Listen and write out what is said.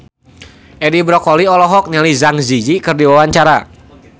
Edi Brokoli olohok ningali Zang Zi Yi keur diwawancara